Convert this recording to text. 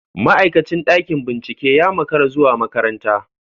Ma'aikacin ɗakin bincike ya makara zuwa makaranta.